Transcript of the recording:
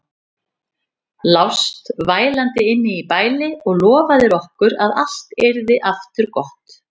Lást vælandi inni í bæli og lofaðir okkur að allt yrði aftur gott.